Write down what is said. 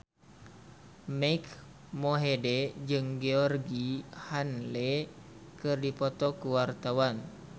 Mike Mohede jeung Georgie Henley keur dipoto ku wartawan